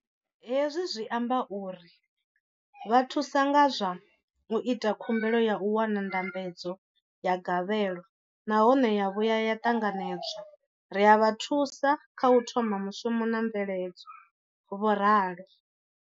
Hezwi zwi amba uri ri vha thusa nga zwa u ita khumbelo ya u wana ndambedzo ya gavhelo nahone ya vhuya ya ṱanganedzwa, ri a vha thusa kha u thoma mushumo na mveledzo, vho ralo.